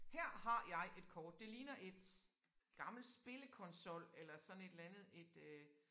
Her har jeg et kort det ligner et gammelt spillekonsol eller sådan et eller andet et øh